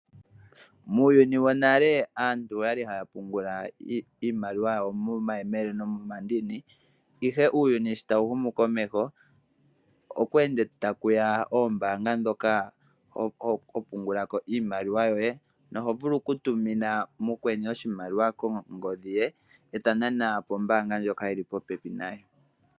Muuyuni wonale aantu oya li haya pungula iimaliwa yawo momayemele nomomandini, ihe uuyuni sho tawu humu komeho okweenda taku ya oombaanga ndhoka ho pungula ko iimaliwa yoye noho vulu okutumina ko mukweni oshimaliwa kongodhi ye e ta nana pombaanga ndjoka yi li popepi naye.